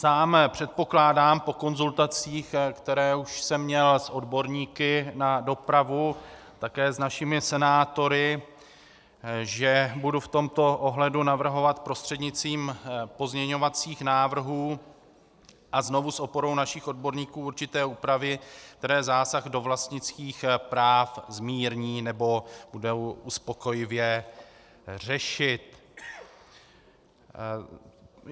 Sám předpokládám, po konzultacích, které už jsem měl s odborníky na dopravu, také s našimi senátory, že budu v tomto ohledu navrhovat prostřednictvím pozměňovacích návrhů a znovu s oporou našich odborníků určité úpravy, které zásah do vlastnických práv zmírní nebo budou uspokojivě řešit.